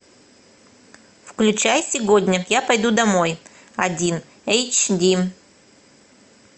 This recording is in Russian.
включай сегодня я пойду домой один эйч ди